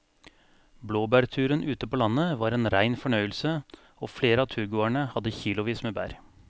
Blåbærturen ute på landet var en rein fornøyelse og flere av turgåerene hadde kilosvis med bær.